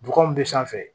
Bɔgɔ min bɛ sanfɛ